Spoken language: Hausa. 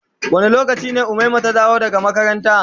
Wanda lokaci ne umaima ta dawo daga makaranta.